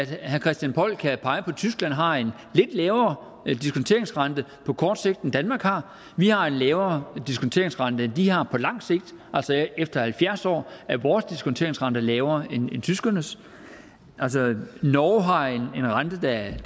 herre christian poll kan pege på at tyskland har en lidt lavere diskonteringsrente på kort sigt end danmark har vi har en lavere diskonteringsrente end de har på lang sigt efter halvfjerds år er vores diskonteringsrente altså lavere end tyskernes norge har en rente der er